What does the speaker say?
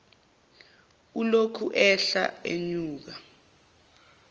ulokhu ehla enyuka